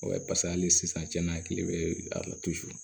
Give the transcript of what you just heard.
paseke hali sisan cɛn na a kile bɛ a la